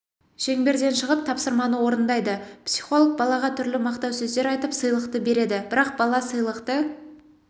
шеңберден шығып тапсырманы орындайды психолог балаға түрлі мақтау сөздер айтып сыйлықты береді бірақ бала сыйлықты